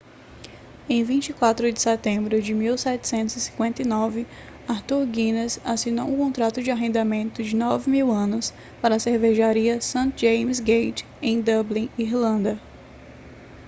em 24 de setembro de 1759 arthur guinness assinou um contrato de arrendamento de 9.000 anos para a cervejaria st james's gate em dublin irlanda